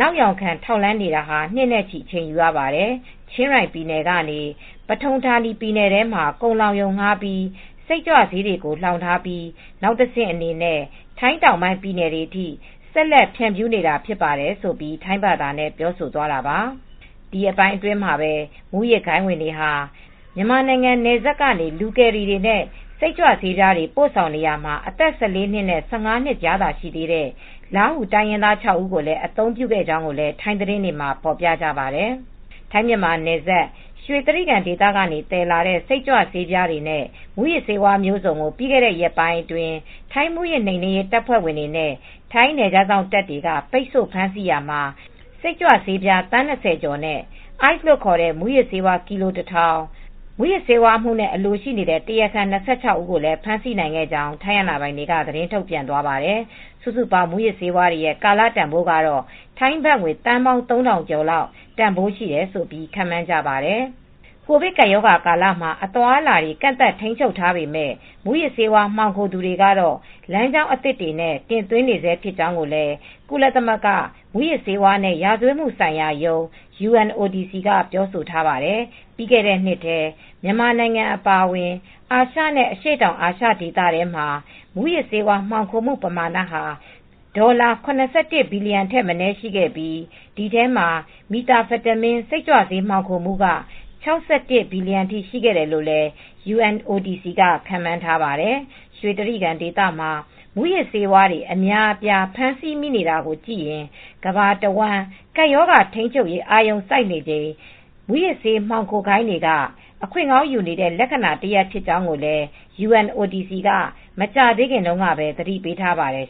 နောက်ယောင်ခံထောက်လှမ်းနေတာ နှစ်နဲ့ချီ အချိန်ယူရပါတယ်။ ချင်းရိုင်ပြည်နယ်ကနေ ပထုန်ဌာနီပြည်နယ်ထဲမှာ ကုန်လှောင်ရုံ ငှားပြီး စိတ်ကြွဆေးတွေကို လှောင်ထားပြီး နောက်တဆင့်အနေနဲ့ထိုင်းတောင်ပိုင်းပြည်နယ်တွေအထိ ဆက်လက် ဖြန့်ဖြူးနေတာဖြစ်ပါတယ်။" လို့ ထိုင်းဘာသာနဲ့ ပြောသွားတာပါ။ ဒီရက်ပိုင်းမှာပဲ မူးယစ်ဂိုဏ်းတွေဝင်ဟာ မြန်မာနိုင်ငံနယ်စပ်ကနေ လူကယ်ရီတွေနဲ့ စိတ်ကြွဆေးပြားတွေ ပို့ဆောင်နေရာမှာ အသက် ၁၄ နှစ်နဲ့၁၅ နှစ်သာရှိသေးတဲ့ လားဟူ တိုင်းရင်းသူ ခြောက်ဦးကိုလည်း အသုံးပြုခဲ့ကြောင်းကိုလည်း ထိုင်းသတင်းတွေမှာ ဖော်ပြကြပါတယ်။ ထိုင်းမြန်မာနယ်စပ် ရွှေတြိဂံဒေသကနေ သယ်လာတဲ့ စိတ်ကြွဆေးပြားတွေနဲ့ မူးယစ်ဆေးဝါးမျိုးစုံကို ပြီးခဲ့တဲ့ ရက်ပိုင်းအတွင်း ထိုင်း မူးယစ်နှိမ်နင်းရေး တပ်ဖွဲ့ဝင်တွေနဲ့ထိုင်းနယ်ခြားစောင့်တပ်တွေက ပိတ်ဆို့ဖမ်းဆီးခဲ့ရာမှာ စိတ်ကြွဆေး သန်း ၂၀ ကျော်နဲ့ အိုက်စ်လို့ ခေါ်တဲ့ မူးယစ်ဆေး ကီလို ၁,၀၀၀ နဲ့ မူးယစ်ဆေးဝါးအမှုနဲ့ အလိုရှိနေတဲ့ တရားခံ ၂၆ ဦးကိုလည်း ဖမ်းဆီးနိုင်ခဲ့ကြောင်း ထိုင်းအာဏာပိုင်တွေက သတင်းထုတ်ပြန်သွားပါတယ်။ စုစုပေါင်း မူးယစ်ဆေးဝါးတွေရဲ ့ကာလတန်ဖိုးကတော့ ထိုင်းဘတ်ငွေ သန်းပေါင်း ၃,၀၀၀ ကျော်လောက်တန်ဖိုးရှိတယ်လို့ ခန့်မှန်းကြပါတယ်။ ကိုဗစ်ကပ်ရောဂါကာလမှာ အသွားအလာတွေ ကန့်သတ်ထိန်းချုပ်ထားပေမဲ့ မူးယစ်ဆေးဝါး မှောင်ခိုသူတွေကတော့ လမ်းကြောင်းအသစ်တွေနဲ့ တင်သွင်းနေဆဲဖြစ်ကြောင်းကိုလည်း ကုလသမဂ္ဂ မူးယစ်ဆေးဝါးနဲ့ ရာဇဝတ်မှုဆိုင်ရာရုံး (UNODC) က ပြောဆိုထားပါတယ်။ ပြီးခဲ့တဲ့နှစ်ထဲ မြန်မာနိုင်ငံအပါအဝင် အာရှနဲ့ အရှေ့တောင်အာရှဒေသထဲမှာ မူးယစ်ဆေးဝါး မှောင်ခိုမှုပမာဏဟာ ဒေါ်လာ ၇၁ ဘီလီယံထက်မနည်း ရှိခဲ့ပြီး ဒီအထဲမှာ Methamphetamine စိတ်ကြွဆေး မှောင်ခိုမှုက ၆၁ ဘီလီယံအထိ ရှိခဲ့တယ်လို့လည်း UNODC က ခန့်မှန်းထားပါတယ်။ ရွှေတြိဂံဒေသမှာ မူးယစ်ဆေးဝါးတွေ အများအပြား ဖမ်းဆီးမိနေတာကိုကြည့်ရင် ကမ္ဘာတဝန်း ကပ်ရောဂါထိန်းချုပ်ရေး အာရုံစိုက်နေချိန် မူးယစ်ဆေးမှောင်ခိုဂိုဏ်းတွေက အခွင့်ကောင်းယူနေတဲ့ လက္ခဏာတရပ် ဖြစ်ကြောင်းကိုလည်း UNODC က မကြာသေးခင်တုန်းကပဲ သတိပေးထားပါတယ်